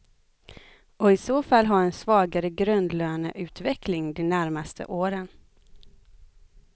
Och i så fall ha en svagare grundlöneutveckling de närmaste åren.